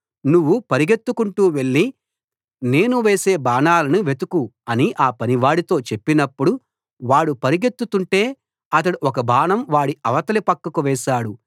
నువ్వు పరుగెత్తుకొంటూ వెళ్ళి నేను వేసే బాణాలను వెతుకు అని ఆ పనివాడితో చెప్పినప్పుడు వాడు పరుగెత్తుతుంటే అతడు ఒక బాణం వాడి అవతలి పక్కకు వేశాడు